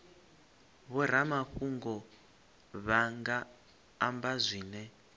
vhoramafhungo vha nga amba zwine